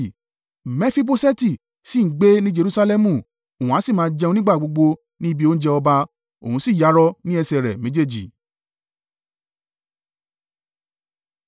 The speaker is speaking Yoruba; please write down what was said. Mefiboṣeti sì ń gbé ní Jerusalẹmu, òun a sì máa jẹun nígbà gbogbo ní ibi oúnjẹ ọba; òun sì yarọ ní ẹsẹ̀ rẹ̀ méjèèjì.